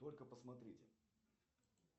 только посмотрите